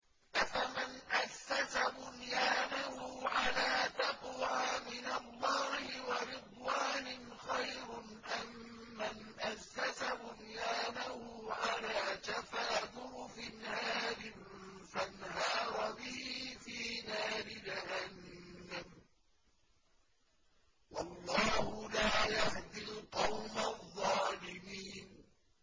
أَفَمَنْ أَسَّسَ بُنْيَانَهُ عَلَىٰ تَقْوَىٰ مِنَ اللَّهِ وَرِضْوَانٍ خَيْرٌ أَم مَّنْ أَسَّسَ بُنْيَانَهُ عَلَىٰ شَفَا جُرُفٍ هَارٍ فَانْهَارَ بِهِ فِي نَارِ جَهَنَّمَ ۗ وَاللَّهُ لَا يَهْدِي الْقَوْمَ الظَّالِمِينَ